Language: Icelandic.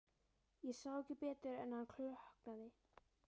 Ég sá ekki betur en að hann klökknaði.